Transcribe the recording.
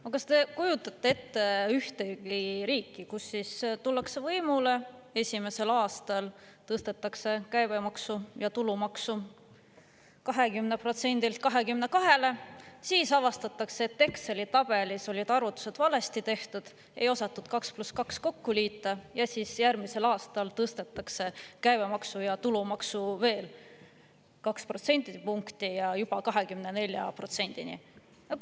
No kas te kujutate ette ühtegi riiki, kus tullakse võimule ja esimesel aastal tõstetakse käibemaks ja tulumaks 20%‑lt 22%‑le, siis avastatakse, et Exceli tabelis olid arvutused valesti tehtud, ei osatud 2 + 2 kokku liita, ja järgmisel aastal tõstetakse käibemaksu ja tulumaksu veel kaks protsendipunkti, juba 24%‑ni?